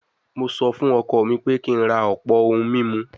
Mo sọ fún ọkọ mi pé kí n ra ọ̀pọ̀ ohun mímu